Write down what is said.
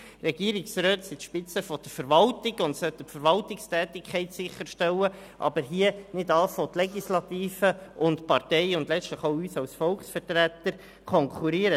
Regierungsräte sind die Spitze der Verwaltung und sollten die Verwaltungstätigkeit sicherstellen, aber nicht die Legislative und die Parteien und letztlich uns als Volksvertreter konkurrieren.